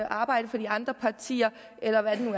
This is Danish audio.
arbejde for de andre partier eller hvad det nu